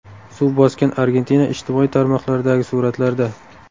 Suv bosgan Argentina ijtimoiy tarmoqlardagi suratlarda .